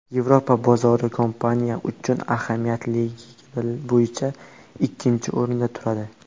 Yevropa bozori kompaniya uchun ahamiyatliligi bo‘yicha ikkinchi o‘rinda turadi.